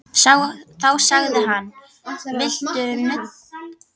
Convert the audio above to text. Þá sagði hann: Viltu nudd?